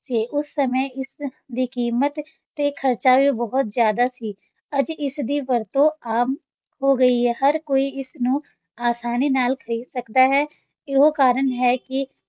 ਸੀ, ਉਸ ਸਮੇਂ ਇਸ ਦੀ ਕੀਮਤ ਤੇ ਖਰਚਾ ਵੀ ਬਹੁਤ ਜ਼ਿਆਦਾ ਸੀ, ਅੱਜ ਇਸ ਦੀ ਵਰਤੋਂ ਆਮ ਹੋ ਗਈ ਹੈ, ਹਰ ਕੋਈ ਇਸ ਨੂੰ ਅਸਾਨੀ ਨਾਲ ਖ਼ਰੀਦ ਸਕਦਾ ਹੈ, ਇਹੋ ਕਾਰਨ ਹੈ ਕਿ